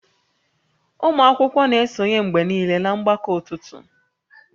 Ụmụ akwụkwọ na-esonye mgbe niile na mgbakọ ụtụtụ